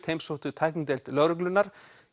heimsóttu tæknideild lögreglunnar